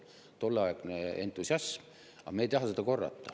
See oli tolleaegne entusiasm, aga me ei taha seda korrata.